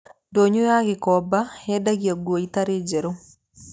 Ndonyo ya Gikomba yendagia nguo itarĩ njerũ.